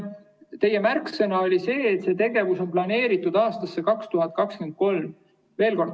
Teie märksõna oli see, et see on planeeritud aastasse 2023.